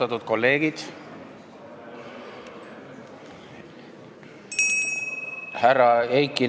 Austatud kolleegid!